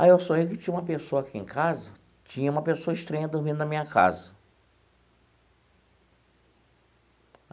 Ah eu sonhei que tinha uma pessoa aqui em casa, tinha uma pessoa estranha dormindo na minha casa.